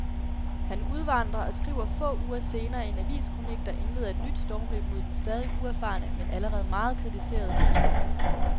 Han udvandrer og skriver få uger senere en aviskronik, der indleder et nyt stormløb mod den stadig uerfarne, men allerede meget kritiserede kulturminister.